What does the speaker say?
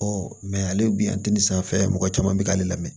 ale bi sanfɛ mɔgɔ caman bɛ k'ale lamɛn